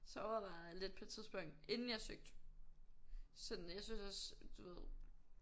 Så overvejede jeg lidt på et tidspunkt inden jeg søgte sådan jeg synes også du ved